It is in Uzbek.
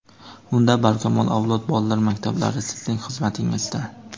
Unda, "Barkamol avlod" bolalar maktablari sizning xizmatingizda!.